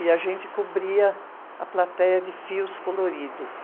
e a gente cobria a plateia de fios coloridos.